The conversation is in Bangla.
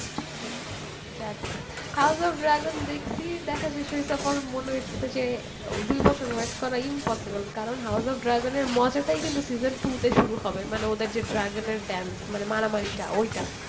যাক house of dragon দেখছি দেখা শেষ হয়েছে পরে মনে হয়েছে যে দুই বছর wait করা impossible কারণ house of dragon মজাটাই কিন্তু season two শুরু হবে মানে ওদের dragon এর dance মানে মারামারিটা ঐটা